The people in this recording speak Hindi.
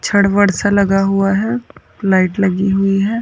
छड़-बड़ सा लगा हुआ है लाइट लगी हुई है।